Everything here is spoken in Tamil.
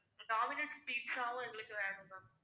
ஒரு dominant pizza வும் எங்களுக்கு வேணும் ma'am